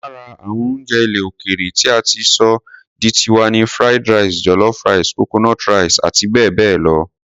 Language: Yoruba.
Lára àwọn oúnjẹ ilẹ̀ òkèèrè tí a ti sọ di tiwa ni Fried rice, jollof rice, coconut rice àti bẹ́ẹ̀ bẹ́ẹ̀ lọ.